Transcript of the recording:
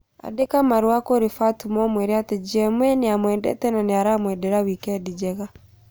Andĩka marũa kũrĩ Fatma ũmwĩre atĩ GMA nĩ amwendete na nĩ aramwendera wikendi njega